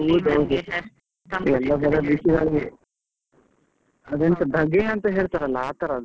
ಎಲ್ಲಾ ಕಡೆ ಬಿಸಿಲಲ್ಲೇ ಅದು ಎಂತ ಧಗೆ ಅಂತ ಹೇಳ್ತಾರಲ್ಲ ಆತರದ್ದು.